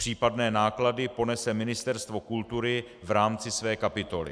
Případné náklady ponese Ministerstvo kultury v rámci své kapitoly.